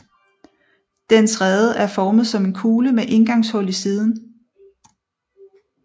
Dens rede er formet som en kugle med indgangshul i siden